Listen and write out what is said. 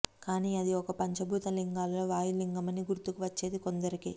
కాని అది ఒక పంచభూత లింగాలలో వాయులింగమని గుర్తుకు వచ్చేది కొందరికే